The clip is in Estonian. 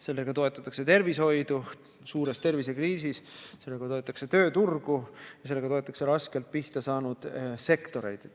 Sellega toetatakse tervishoidu suures tervisekriisis, sellega toetatakse tööturgu ja sellega toetatakse raskelt pihta saanud sektoreid.